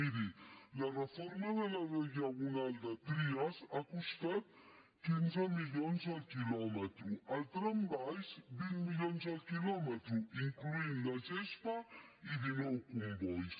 miri la reforma de la diagonal de trias ha costat quinze milions el quilòmetre el trambaix vint milions el quilòmetre incloent hi la gespa i dinou combois